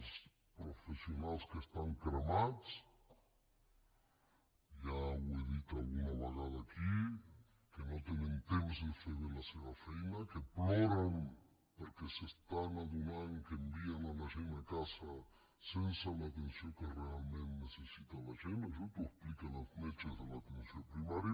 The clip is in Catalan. els professionals que estan cremats ja ho he dit alguna vegada aquí que no tenen temps de fer bé la seva feina que ploren perquè s’estan adonant que envien la gent a casa sense l’atenció que realment necessita la gent això t’ho expliquen els metges de l’atenció primària